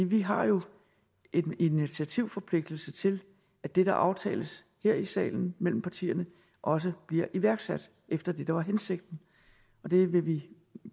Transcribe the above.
vi har jo en initiativforpligtelse til at det der aftales her i salen mellem partierne også bliver iværksat efter det der var hensigten og det vil vi